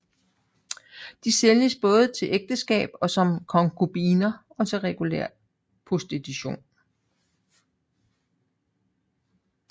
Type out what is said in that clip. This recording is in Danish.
De sælges både til ægteskab og som konkubiner og til regulær prostitution